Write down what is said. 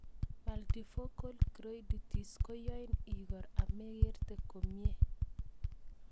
Multifocal choroiditis koyain ikor amekerte komie